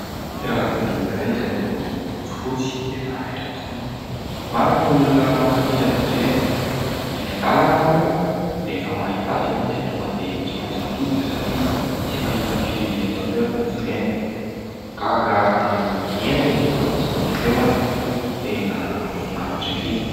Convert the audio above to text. Fiarakodia iray izay miloko fotsifotsy tena raitra tokoa. Maro ny olona mankafỳ azy ireny ; eny an-dalana ary moa rehefa mahita azy ianao dia tonga dia tsy maintsy mitodika satria tsy fahita firy eto an-toerana izy ireny. Gaga amin'ny endriny sy ny feoany tena mahafinaritra erỳ.